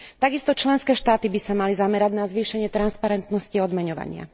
Takisto členské štáty by sa mali zamerať na zvýšenie transparentnosti odmeňovania.